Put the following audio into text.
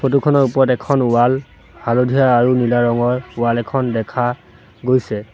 Photo খনৰ ওপৰত এখন ৱাল হালধীয়া আৰু নীলা ৰঙৰ ৱাল এখন দেখা গৈছে।